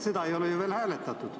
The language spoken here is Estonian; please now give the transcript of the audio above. Seda ei ole ju veel hääletatud.